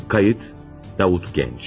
Qeyd: Davut Gənc.